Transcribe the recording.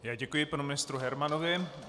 Já děkuji panu ministru Hermanovi.